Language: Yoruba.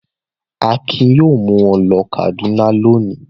Akin yóò mú ọ ló Kàdúná lónìí!